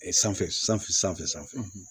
sanfɛ sanfɛ sanfɛ sanfɛ